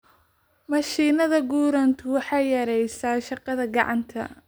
Mashiinnada gurantu waxay yareeyaan shaqada gacanta.